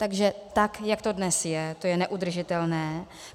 Takže tak jak to dnes je, to je neudržitelné.